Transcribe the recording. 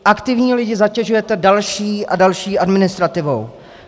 Aktivní lidi zatěžujete další a další administrativou.